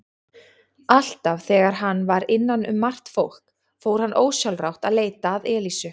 Alltaf þegar hann var innan um margt fólk fór hann ósjálfrátt að leita að Elísu.